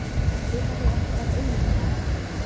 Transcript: Þurfa þeir ekki bara iðnaðarmenn?